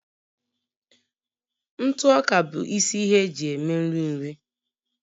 ntụ ọka bụ isi ihe eji eme nri nri